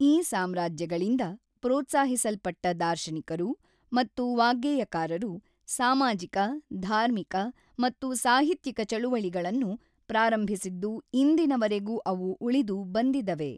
ಈ ಸಾಮ್ರಾಜ್ಯಗಳಿಂದ ಪ್ರೋತ್ಸಾಹಿಸಲ್ಪಟ್ಟ ದಾರ್ಶನಿಕರು ಮತ್ತು ವಾಗ್ಗೇಯಕಾರರು ಸಾಮಾಜಿಕ-ಧಾರ್ಮಿಕ ಮತ್ತು ಸಾಹಿತ್ಯಿಕ ಚಳುವಳಿಗಳನ್ನು ಪ್ರಾರಂಭಿಸಿದ್ದು ಇಂದಿನವರೆಗೂ ಅವು ಉಳಿದು ಬಂದಿದವೆ